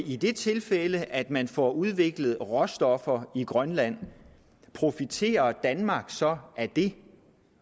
i det tilfælde at man får udviklet råstoffer i grønland profiterer danmark så af det